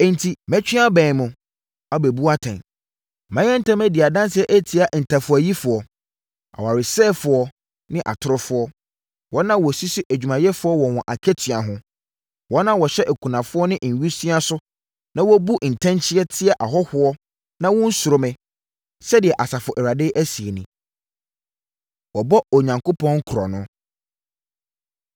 “Enti mɛtwe abɛn mo, abɛbu atɛn. Mɛyɛ ntɛm adi adanseɛ atia ntafowayifoɔ, awaresɛefoɔ ne atorofoɔ, wɔn a wɔsisi adwumayɛfoɔ wɔ wɔn akatua ho, wɔn a wɔhyɛ akunafoɔ ne nwisiaa so na wɔbu ntɛnkyea tia ahɔhoɔ na wɔnnsuro me,” sɛdeɛ Asafo Awurade seɛ nie. Wɔbɔ Onyankopɔn Korɔno